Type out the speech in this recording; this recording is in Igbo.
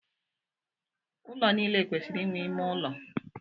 Ụlọ niile kwesịrị inwe ime ụlọ.